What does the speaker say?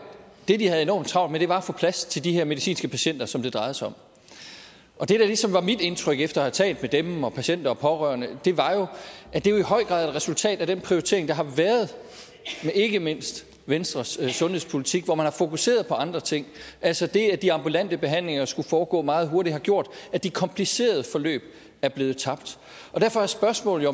det de havde enormt travlt med var at få plads til de her medicinske patienter som det drejede sig om og det der ligesom var mit indtryk efter at have talt med dem og patienter og pårørende var at det jo i høj grad er et resultat af den prioritering der har været ikke mindst venstres sundhedspolitik hvor man har fokuseret på andre ting altså det at de ambulante behandlinger skulle foregå meget hurtigt har gjort at de komplicerede forløb er blevet tabt derfor er spørgsmålet